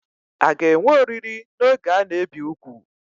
A ga-enwe oriri n'oge a na-ebi úgwù?